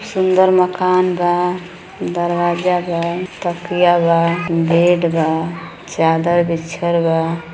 सुंदर मकान बा। दरवाजा बा। तकिया बा। गेट बा चादर बिछल बा।